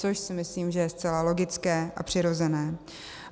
Což si myslím, že je zcela logické a přirozené.